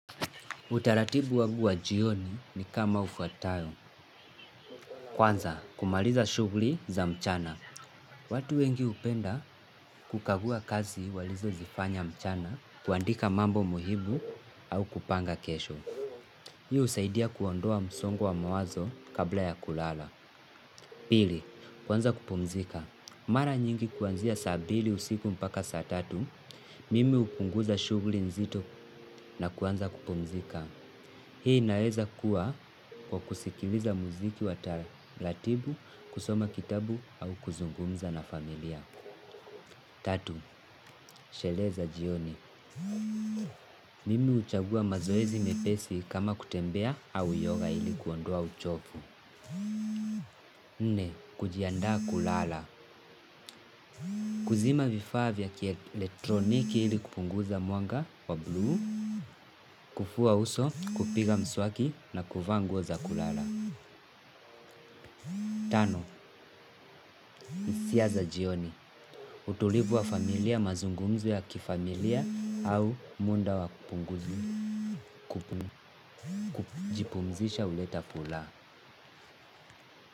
Utaratibu wangu wa jioni ni kama ufuatayo. Kwanza, kumaliza shughuli za mchana. Watu wengi hupenda kukagua kazi walizozifanya mchana, kuandika mambo muhimu au kupanga kesho. Hii husaidia kuondoa msongo wa mawazo kabla ya kulala. Pili, kuanza kupumzika. Mara nyingi kuanzia saa mbili usiku mpaka saa tatu, mimi hupunguza shughuli nzito na kuanza kupumzika. Hii inaweza kuwa kwa kusikiliza muziki wa taratibu, kusoma kitabu au kuzungumza na familia. Tatu, sherehe za jioni. Mimi huchagua mazoezi mepesi kama kutembea au yoga ili kuondoa uchovu. Nne, kujiandaa kulala. Kuzima vifaa vya kieletroniki ili kupunguza mwanga wa blue. Kufua uso, kupiga mswaki na kuvaa nguo za kulala. Tano, hisia za jioni. Utulivu wa familia mazungumzo ya kifamilia au muda wa kupunguza. Kujipumzisha huleta furaha.